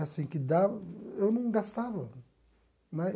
Assim que da eu não gastava né.